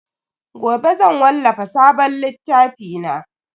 Gobe zan wallafa sabon littafi na.